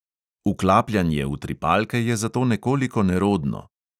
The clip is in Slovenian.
Vklapljanje utripalke je zato nekoliko nerodno.